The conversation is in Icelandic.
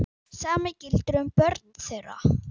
Sama gildir um börnin þeirra.